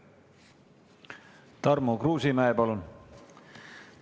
Tarmo Kruusimäe, palun!